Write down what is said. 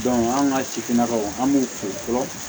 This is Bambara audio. an ka sifinnakaw an b'u fo fɔlɔ